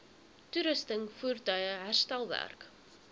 toerusting voertuie herstelwerk